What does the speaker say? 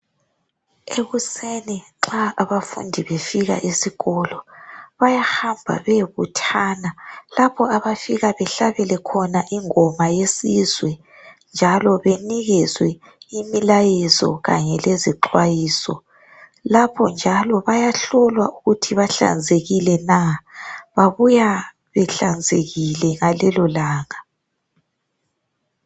Ekuseni nxa abafundi befika esikolo bayahamba bayebuthana lapho abafika bahlabele khona ingoma yesizwe njalo banikezwe imilayezo kanye lezixwayiso lapho njalo bayahlolwa ukuthi bahlanzekile na. Babuya behlanzekile ngalelolanga.